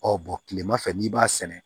kilema fɛ n'i b'a sɛnɛ